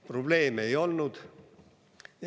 Probleeme ei olnud.